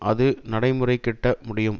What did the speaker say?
அது நடைமுறைக்கிட்ட முடியும்